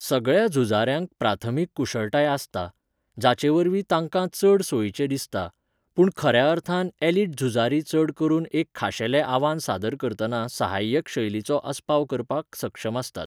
सगळ्या झुजाऱ्यांक प्राथमीक कुशळटाय आसता, जाचेवरवीं तांकां चड सोयीचें दिसता, पूण खऱ्या अर्थान ऍलिट झुजारी चड करून एक खाशेलें आव्हान सादर करतना सहाय्यक शैलींचो आस्पाव करपाक सक्षम आसतात.